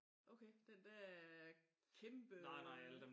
Okay den dér øh kæmpe øh